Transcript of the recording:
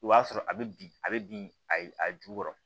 I b'a sɔrɔ a bɛ bin a bɛ bin ayi a jukɔrɔ